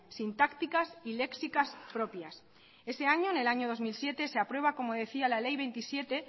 sintácticas y léxicas propias ese año en el año dos mil siete se aprueba como decía la ley veintisiete